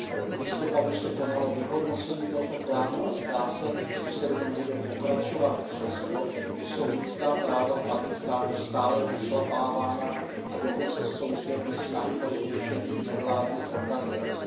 V listopadu se konalo vyhodnocení tohoto plánu a zdá se, že se v něm bude pokračovat přesto, že jsou lidská práva v Pákistánu stále pošlapávána a dokonce jsou zde i snahy o zrušení nevládních organizací.